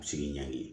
A bɛ se k'i ɲagami